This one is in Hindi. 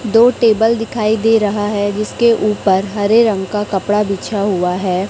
दो टेबल दिखाई दे रहा है जिसके ऊपर हरे रंग का कपड़ा बिछा हुआ है।